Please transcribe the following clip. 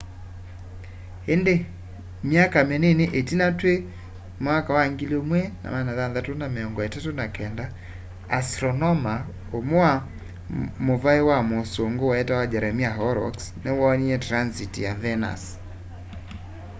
îndî myaka minini itina twî 1639 astronoma umwe wa muvai wa mûûsûngû wetawa jeremiah horrocks niwoonie transit ya venus